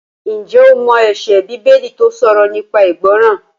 Ǹjẹ́ o mọ ẹsẹ Bíbélì tó sọ̀rọ̀ nípa ìgbọràn?